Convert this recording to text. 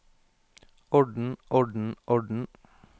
orden orden orden